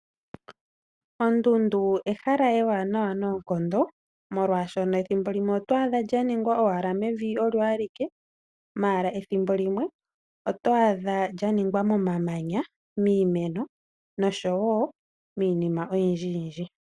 Ondundu ehala ewanawa noonkondo molwashoka ethimbo limwe oto adha lya ningwa owala mevi olyo alike . Ethimbo limwe oto adha lyaningwa momamanya , miimeno noshowo miinima oyindji yindji.